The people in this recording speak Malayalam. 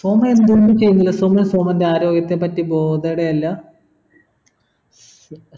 സോമൻ എന്തുകൊണ്ട് ചെയുന്നില്ല സോമൻ സോമൻ്റെ ആരോഗ്യത്തെ പറ്റി bothered യെ അല്ല